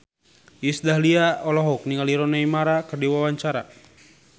Iis Dahlia olohok ningali Rooney Mara keur diwawancara